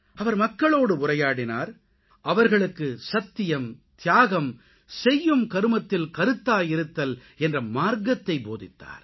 அவர் மக்களோடு உரையாடினார் அவர்களுக்கு சத்தியம் தியாகம் செய்யும் கருமத்தில் கருத்தாய் இருத்தல் என்ற மார்க்கத்தை போதித்தார்